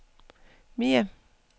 mere